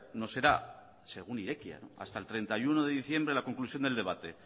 no será según irekia hasta el treinta y uno de diciembre la conclusión del debate